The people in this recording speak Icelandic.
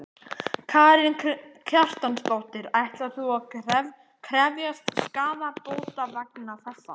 Karen Kjartansdóttir: Ætlar þú að krefjast skaðabóta vegna þessa?